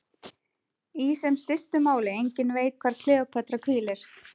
Í sem stystu máli: enginn veit hvar Kleópatra hvílir.